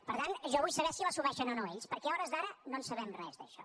per tant jo vull saber si l’assumeixen o no ells perquè a hores d’ara no en sabem res d’això